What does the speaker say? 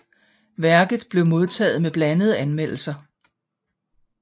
Værket blev modtaget med blandede anmeldelser